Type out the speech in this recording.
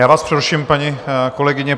Já vás přeruším, paní kolegyně.